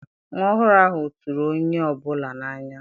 Nwa ọhụrụ ahụ tụrụ onye ọ bụla n'anya.